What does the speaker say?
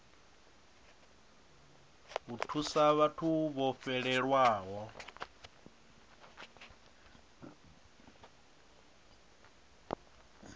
u thusa vhathu vho fhelelwaho